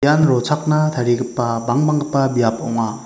ian rochakna tarigipa bangbanggipa biap ong·a.